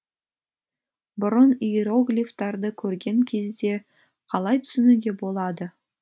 бұрын иероглифтарды көрген кезде қалай түсінуге болады